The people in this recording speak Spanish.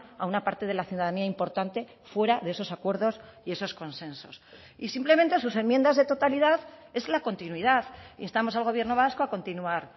a una parte de la ciudadanía importante fuera de esos acuerdos y esos consensos y simplemente sus enmiendas de totalidad es la continuidad instamos al gobierno vasco a continuar